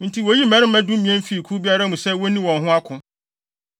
Enti woyii mmarima dumien fii kuw biara mu sɛ wonni wɔn ho ako.